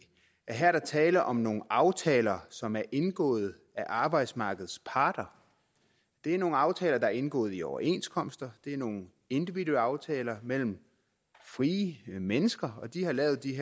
her er tale om nogle aftaler som er indgået af arbejdsmarkedets parter det er nogle aftaler der er indgået i overenskomster det er nogle individuelle aftaler mellem frie mennesker de har lavet de